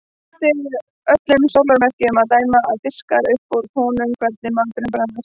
Eftir öllum sólarmerkjum að dæma að fiska upp úr honum hvernig maturinn bragðaðist.